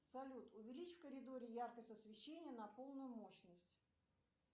салют увеличь в коридоре яркость освещения на полную мощность